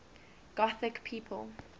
gothic people